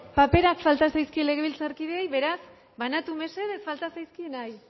paperak falta zaizkie legebiltzarkideei beraz banatu mesedez falta zaizkienei